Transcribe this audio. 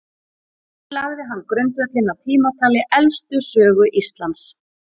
þannig lagði hann grundvöllinn að tímatali elstu sögu íslands